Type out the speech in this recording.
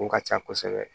O ka ca kosɛbɛ